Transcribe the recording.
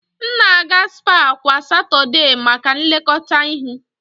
M na-aga spaa kwa Satọdee maka nlekọta ihu.